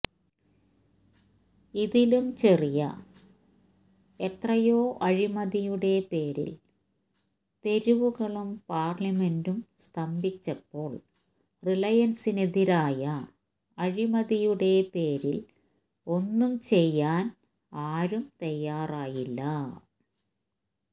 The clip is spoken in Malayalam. ഇതിലും ചെറിയ എത്രയോ അഴിമതിയുടെ പേരില് തെരുവുകളും പാര്ലമെന്റും സ്തംഭിച്ചപ്പോള് റിലയന്സിനെതിരായ അഴിമതിയുടെ പേരില് ഒന്നും ചെയ്യാന് ആരും തയ്യാറായില്ല